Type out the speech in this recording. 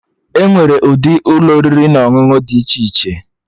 Enwere ụdị Ụlọ oriri na ọṅụṅụ dị iche iche